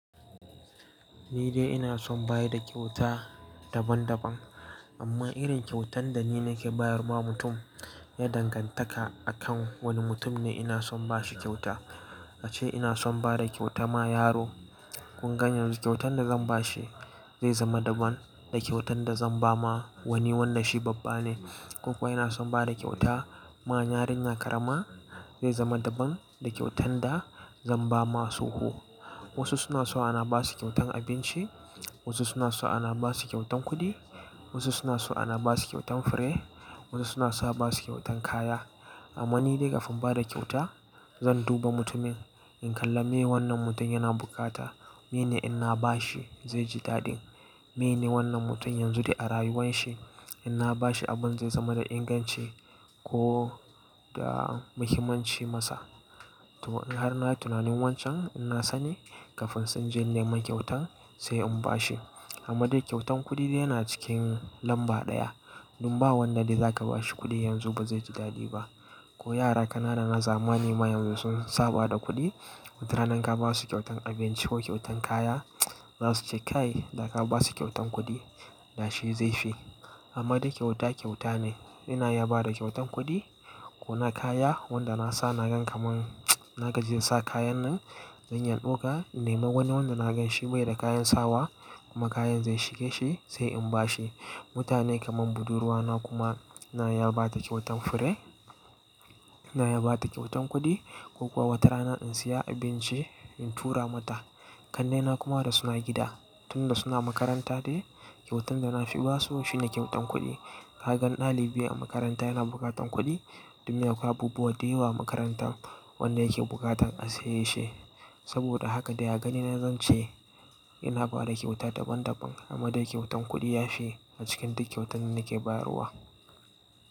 Ni dai ina son bayar da kyauta daban-daban. Amma irin kyautan da ni nake bayarwa mutum, ya dangantaka akan wani mutum ne ina son bashi kyauta. A ce ina son bada kyauta ma yaro, kun gane yanzu kyautan da zan bashi zai zama daban da kyautan da zan ba ma wani wanda shi babba ne. Ko kuwa ina son bada kyauta ma yarinya karama, zai zama daban da kyautan da zan ba ma tsoho. Wasu suna so ana ba su kyautan abinci, wasu suna so ana ba su kyautan kuɗi, wasu suna so ana ba su kyautan fure, wasu suna so ba su kyautan kaya. Amma ni dai kafin bada kyauta, zan duba mutumin, in kalla meye wannan mutum yana bukata, meye ne in na ba shi zai ji daɗin, meye ne wannan mutum yanzu dai a rayuwan shi in na ba shi abun zai zama da inganci ko da muhimmanci masa. To in har na yi tunanin wancan, ina sani kafin sai in je nema kyautan sai in ba shi. Amma dai kyautan kuɗi dai yana cikin lamba ɗaya. Don ba wannan dai za ka ba shi kuɗi yanzu ba zai ji daɗi ba. Ko yara kanana na zamani ma yanzu sun saba da kuɗi, watarana ka ba su kyautan abinci ko kyautan kaya, za su ce kai, da ka ba su kyautan kuɗi da shi zai fi. Amma dai kyauta kyauta ne. Ina iya ba da kyautan kuɗi ko na kaya, wanda na sa na gan kamar na gajiya sa kayan nan, zan yan ɗauka in nemi wani wanda na ganshi bai da kayan sawa kuma kayan zai shige shi sai in ba shi. Mutane kamar budurwa na kuma na iya ba ta kyautan fure, ina ya ba ta kyautan kuɗi ko kuwa wata rana in saya abinci in tura mata. Kannai na kuma da suna gida, tun da suna makaranta dai kyautan da na fi ba su shine kyautan kuɗi. Ka gan ɗalibi a makaranta yana bukatan kuɗi, don akwai abubuwa dayawa a makarantan wanda yake bukatan a saye shi. Saboda haka dai a gani na zance ina bada kyauta daban-daban amma dai kyautan kuɗi ya fi a cikin duk kyautan da nake bayarwa.